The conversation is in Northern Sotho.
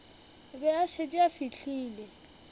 be a šetše a fihlile